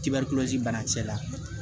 Tibɛri bana kisɛ la